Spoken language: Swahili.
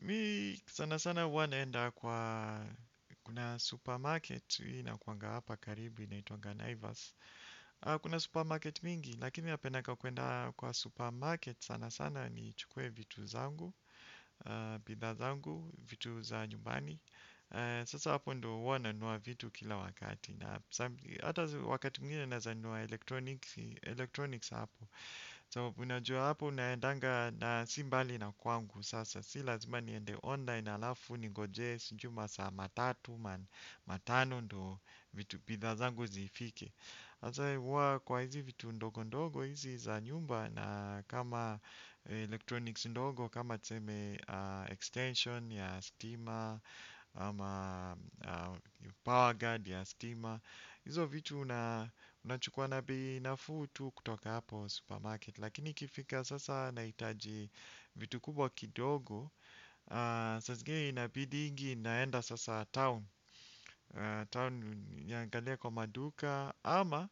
Mi sana sana huwa naenda kwa kuna supermarket inakuanga hapa karibu inaitwanga Naivas. Kuna supermarket mingi, lakini napenanga kuenda kwa supermarket sana sana ni chukuwe vitu zangu. Bidhaa zangu, vitu za nyumbani. Sasa hapo ndo huwa na nunua vitu kila wakati. Hata wakati mwingine naeza nunua electronics hapo So unajua hapo unaendanga na simbali na kwangu sasa. Si lazima niende online alafu ningojee sinjui masaa matatu man matano ndo vitu bidha zangu zifike. Asa uwa kwa hizi vitu ndogo ndogo hizi za nyumba na kama electronics ndogo. Kama tuseme extension ya stima ama power guard ya stima. Izo vitu unachukua na bei nafuu tu kutoka hapo supermarket. Lakini ikifika sasa naitaji vitu kubwa kidogo. Saa zingine inabidingi naenda sasa town Town niangalie kwa maduka. Ama